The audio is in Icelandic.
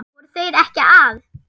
Voru þeir ekki að?